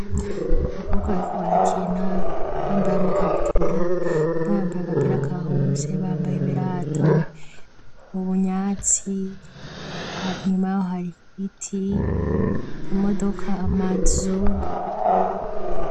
Abakobwa bariko barakina bambaye amakabutura, umwe yambaye agapira ka rouge, bambaye ibirato mu bunyatsi, inyuma hayo hari ibiti, imodoka, amazu.